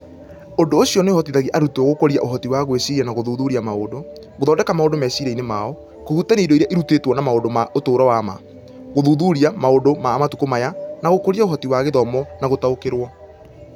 Ũndũ ũcio nĩ ũhotithagia arutwo gũkũria ũhoti wa gwĩciria na gũthuthuria maũndũ, gũthondeka maundũ meciria-inĩ mao, kũhutania indo iria irutĩtwo na maũndũ ma ũtũũro wa ma, gũthuthuria maũndũ ma matukũ maya, na gũkũria ũhoti wa gũthoma na gũtaũkĩrũo.